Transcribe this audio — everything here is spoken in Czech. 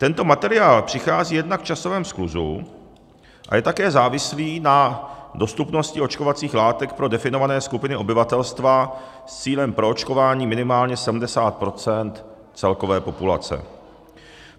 Tento materiál přichází jednak v časovém skluzu a je také závislý na dostupnosti očkovacích látek pro definované skupiny obyvatelstva s cílem proočkování minimálně 70 % celkové populace.